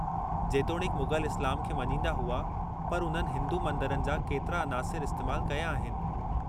जेतोणीकि मुग़ल इस्लाम खे मञींदा हुआ पर उन्हनि हिंदू मंदरनि जा केतिरा अनासिर इस्तेमालु कया आहिनि।